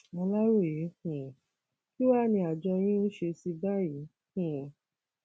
aláròye um kín wàá ni àjọ yín ń ṣe sí i báyìí um